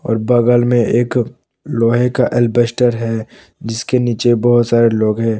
और बगल में एक लोहे का अल्बेस्टर है जिसके नीचे बहुत सारे लोग हैं।